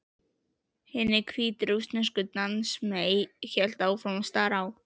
Hin hvítrússneska dansmey hélt áfram að stara á